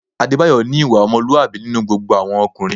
Adébáyọ̀ ní ìwà ọmọlúwàbí nínú gbogbo àwọn ọkùnrin